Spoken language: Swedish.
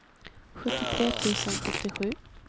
sjuttiotre tusen sjuttiosju